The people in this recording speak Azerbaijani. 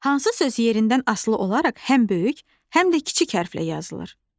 Hansı söz yerindən asılı olaraq həm böyük, həm də kiçik hərflə yazılır?